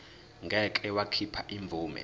ngeke wakhipha imvume